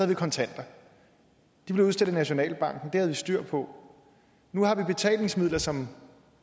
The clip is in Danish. vi kontanter de blev udstedt af nationalbanken og vi styr på nu har vi betalingsmidler som